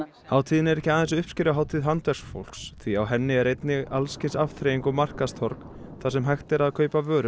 hátíðin er ekki aðeins uppskeruhátíð handverksfólks því á henni er einnig alls kyns afþreying og markaðstorg þar sem hægt er að kaupa vörur